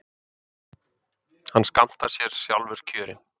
Hann skammtar sér sjálfur kjörin.